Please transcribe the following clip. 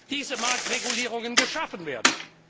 diese Marktregulierungen geschaffen werden.